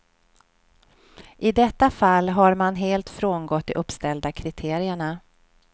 I detta fall har man helt frångått de uppställda kriterierna.